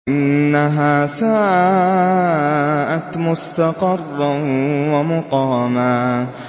إِنَّهَا سَاءَتْ مُسْتَقَرًّا وَمُقَامًا